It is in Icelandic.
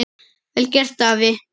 Vel gert, afi.